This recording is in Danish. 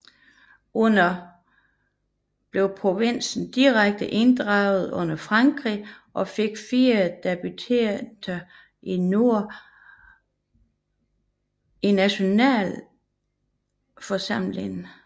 Under Cavaignac blev provinsen direkte inddraget under Frankrig og fik 4 deputerede i Nationalforsamlingen